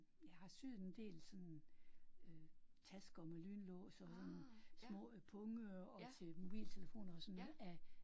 Jeg har syet en del sådan øh tasker med lynlås og sådan små punge og til mobiltelefoner og sådan af